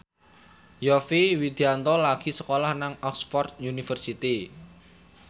Yovie Widianto lagi sekolah nang Oxford university